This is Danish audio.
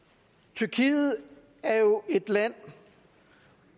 tyrkiet er jo et land